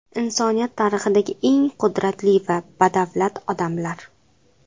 Insoniyat tarixidagi eng qudratli va badavlat odamlar .